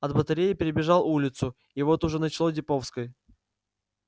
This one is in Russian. от батареи перебежал улицу и вот уже начало деповской